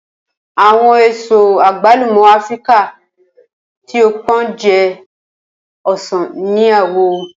Awọn eso agbalumo Afirika ti o pọn jẹ osan ni awọ.